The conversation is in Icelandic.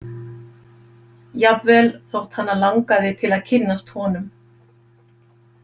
Jafnvel þótt hana langaði til að kynnast honum.